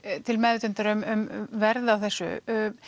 til meðvitundar um verð á þessu